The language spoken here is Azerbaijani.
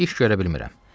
İş görə bilmirəm.